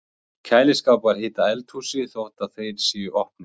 Kæliskápar hita eldhúsið þótt að þeir séu opnir!